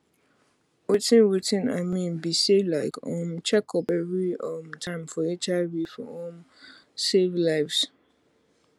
watin watin i mean be saylike um check up every um time for hiv for um save lives